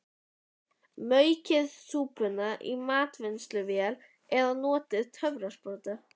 Maukið súpuna í matvinnsluvél eða notið töfrasprota.